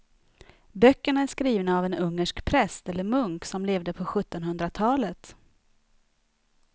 Böckerna är skrivna av en ungersk präst eller munk som levde på sjuttonhundratalet.